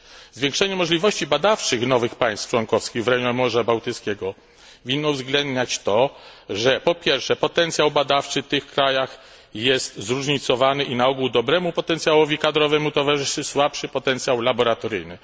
Zwiększenie możliwości badawczych nowych państw członkowskich w rejonie Morza Bałtyckiego winno uwzględniać to, że po pierwsze, potencjał badawczy w tych krajach jest zróżnicowany i na ogół dobremu potencjałowi kadrowemu towarzyszy słabszy potencjał laboratoryjny.